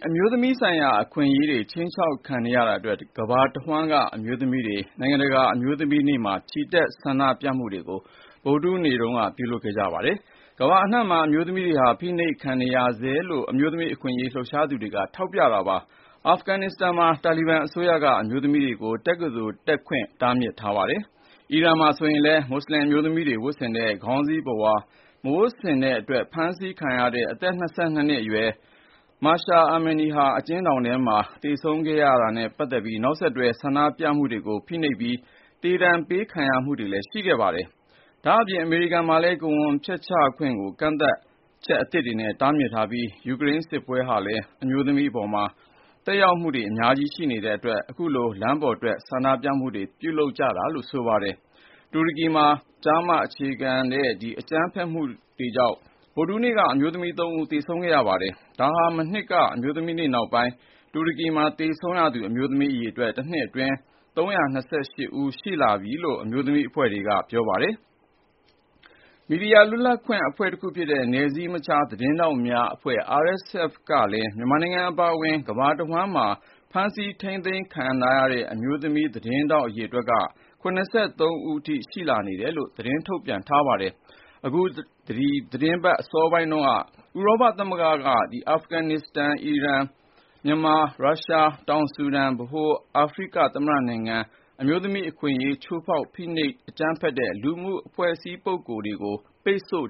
အမျိုးသမီးဆိုင်ရာ အခွင့်အရေးတွေ ခြိမ်းခြောက်ခံနေရတာအတွက် ကမ္ဘာတဝန်းက အမျိုးသမီးတွေဟာ မနေ့ဗုဒ္ဓဟူးနေ့မှာ နိုင်ငံတကာအမျိုးသမီးများနေ့မှာ ချီတက်ဆန္ဒပြခဲ့ကြပါတယ်။ ကမ္ဘာအနှံ့မှာ အမျိုးသမီးတွေဟာ ဖိနှိပ်ခံနေရဆဲဖြစ်ကြောင်း အမျိုးသမီးအခွင့်အရေးလှုပ်ရှားသူတွေက ထောက်ပြပါတယ်။ အာဖဂ္ဂန်နစ္စတန်မှာဆိုရင် တာလီဘန်အစိုးရက အမျိုးသမီးတွေကို တက္ကသိုလ်တက်ခွင့် တားမြစ်ထားပါတယ်။ အီရန်မှာလည်း မွတ်ဆလင်အမျိုးသမီးတွေဝတ်ဆင်တဲ့ ခေါင်းစီးပုဝါမဝတ်ဆင်တဲ့အတွက် ဖမ်းဆီးခံရတဲ့ အသက် ၂၂ နှစ်အရွယ် အမျိုးသမီးငယ် Mahsa Amini အကျဉ်းထောင်ထဲမှာ သေဆုံးခဲ့ရတာနဲ့ပတ်သက်တဲ့ နောက်ဆက်တွဲဆန္ဒပြမှုတွေကို ဖိနှိပ်နေပြီး သေဒဏ်ပေးခံရမှုတွေလည်းရှိနေပါတယ်။ ဒါ့ပြင် အမေရိကန်မှာလည်း ကိုယ်ဝန်ဖျက်ချခွင့်ကို ကန့်သတ်ချက်အသစ်တွေနဲ့ တားမြစ်ထားပြီး ယူကရိန်းစစ်ပွဲဟာလည်း အမျိုးသမီးတွေအပေါ်မှာ သက်ရောက်မှုတွေအများကြီးပဲ ရှိနေတဲ့အတွက်ကြောင့် အခုလို လမ်းပေါ်ထွက်ဆန္ဒပြမှုတွေကို ပြုလုပ်ကြတာလည်းဖြစ်ပါတယ်။ တူရကီမှာဆိုရင်လည်း ကျား-မ အခြေပြု အကြမ်းဖက်မှုကြောင့် ဗုဒ္ဓဟူးနေ့က အမျိုးသမီး ၃ ဦး သေဆုံးခဲ့ရပါတယ်။ ဒါဟာမနှစ်က အမျိုးသမီးနေ့ နောက်ပိုင်း တူရကီမှာသေဆုံးရသူ အမျိုးသမီးအရေအတွက်ဟာ တနှစ်အတွင်း ၃၂၈ ဦး ရှိလာပြီလို့ အမျိုးသမီးအဖွဲ့တွေက ပြောပါတယ်။ မီဒီယာလွတ်လပ်ခွင့်အဖွဲ့တခုဖြစ်တဲ့ နယ်စည်းမခြားသတင်းထောက်များ ကလည်း မြန်မာနိုင်ငံအပါအဝင် ကမ္ဘာတဝန်းမှာ ဖမ်းဆီးထိန်းသိမ်းခံထားရတဲ့ အမျိုးသမီးသတင်းထောက်တွေ ၇၃ ဦး အထိ ရှိနေတယ်လို့ ထုတ်ပြနပါတယ်။ အခု အပတ်အစောပိုင်းက ဥရောပသမဂ္ဂက အာဖဂန်နစ္စတန်၊ အီရန်၊ မြန်မာ၊ ရုရှား၊ တောင်ဆူဒန်၊ ဗဟိုအာဖရိကသမ္မတနိုင်ငံက အမျိုးသမီးအခွင့်အရေး ချိုးဖောက်သူ၊ ဖိနှိပ်အကြိမ်းဖက်တဲ့ လူပုဂ္ဂိုလ်နဲ့ အဖွဲ့အစည်းတွေကို ပိတ်ဆို့